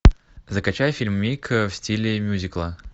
закачай фильмик в стиле мьюзикла